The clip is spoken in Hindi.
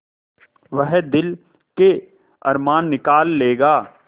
वह दिल के अरमान निकाल लेगा